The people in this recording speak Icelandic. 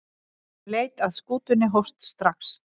Leit að skútunni hófst strax.